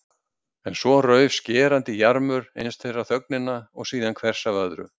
En svo rauf skerandi jarmur eins þeirra þögnina og síðan hvers af öðru.